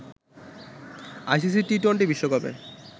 ICC T twenty বিশ্বকাপে